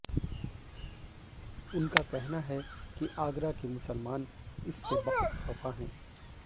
उनका कहना है कि आगरा के मुसलमान इससे बहुत खफा हैं